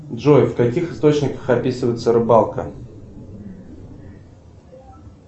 джой в каких источниках описывается рыбалка